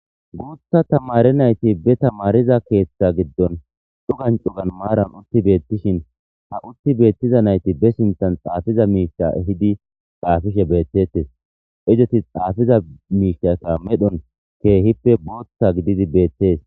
guutha tamare nayti be tamariza keeththa giddon cugancugan maaran utti beettishin ha utti beettiza nayti be sinthan xaafiza miisha hidi xaafishe beettettes izeti xaafiza miishata medhon keehippe booththa gididi beettees